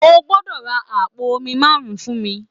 O gbọ́dọ̀ ra àpò omi márùn-ún fún mi